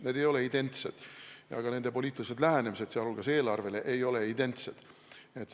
Need ei ole identsed ja ka nende poliitilised lähenemised, muu hulgas eelarvele, ei ole identsed.